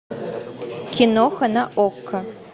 киноха на окко